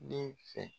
Den fɛ